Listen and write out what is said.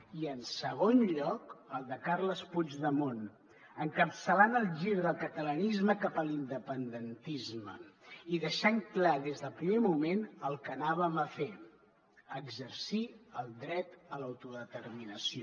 i en segon lloc el de carles puigdemont encapçalant el gir del catalanisme cap a l’independentisme i deixant clar des del primer moment el que anàvem a fer exercir el dret a l’autodeterminació